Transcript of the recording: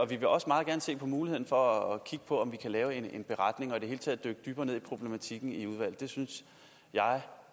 vil også meget gerne se på muligheden for at kigge på om vi kan lave en beretning og i det hele taget dykke dybere ned i problematikken det synes